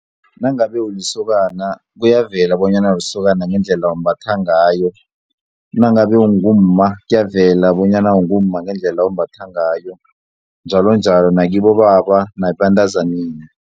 Nangabe ulisokana kuyavela bonyana ulisokana ngendlela ombatha ngayo nangabe ungumma kuyavela bonyana ungumma ngendlela ombatha ngayo njalonjalo nakibobaba nakibantazaneni.